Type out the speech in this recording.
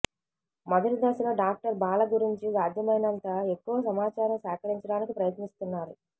మొదటి దశలో డాక్టర్ బాల గురించి సాధ్యమైనంత ఎక్కువ సమాచారం సేకరించడానికి ప్రయత్నిస్తున్నారు